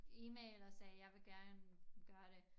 E-mail og sagde jeg vil gerne gøre det